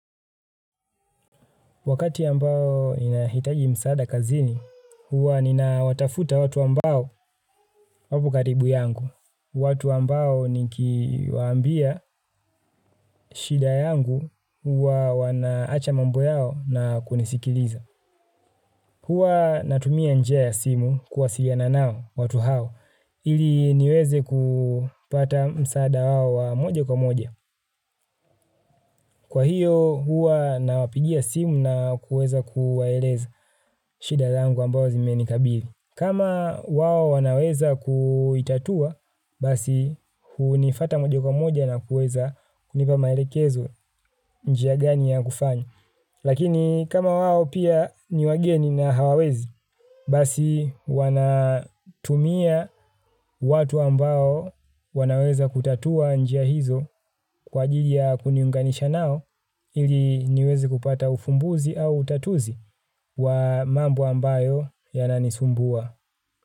Wakati ambao inahitaji msaada kazini, huwa nina watafuta watu ambao wapokaribu yangu. Watu ambao nikiwaambia shida yangu huwa wanaacha mambo yao na kunisikiliza. Huwa natumia njia ya simu kuwasiliana nao watu hao ili niweze kupata msaada wao wa moja kwa moja. Kwa hiyo huwa na wapigia simu na kuweza kuwaeleza shida zangu ambao zimenikabili. Kama wao wanaweza kuitatua, basi hunifata moja kwa moja na kuweza kunipa maelekezo njia gani ya kufanya. Lakini kama wao pia ni wageni na hawawezi, basi wana tumia watu ambao wanaweza kutatua njia hizo kwa ajili ya kuniunganisha nao ili niwezi kupata ufumbuzi au utatuzi wa mambo ambayo yananisumbua.